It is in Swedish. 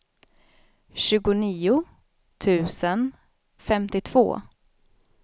tjugonio tusen femtiotvå